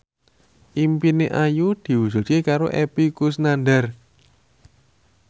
impine Ayu diwujudke karo Epy Kusnandar